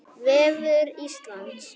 Vefur Veðurstofu Íslands